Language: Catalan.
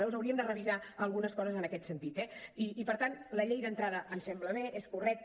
llavors hauríem de revisar algunes coses en aquest sentit eh i per tant la llei d’entrada ens sembla bé és correcta